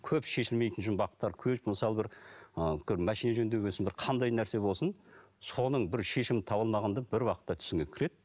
көп шешілмейтін жұмбақтар мысалы бір ы үлкен машина жөндеген соң бір қандай нәрсе болсын соның бір шешімін таба алмағанда бір уақытта түсіңе кіреді